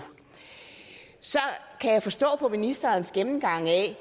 så kan jeg forstå på ministerens gennemgang af